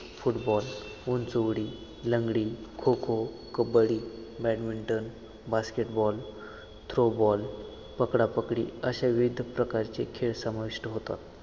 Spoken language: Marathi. फुटबॉल, उंचउडी लंगडी, kho kho, kabaddi, badminton, basketball, throwball, पकडा-पकडी अश्या विविध प्रकारचे खेळ समाविष्ट होतात